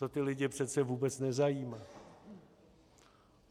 To ty lidi přece vůbec nezajímá.